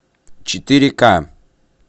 четыре к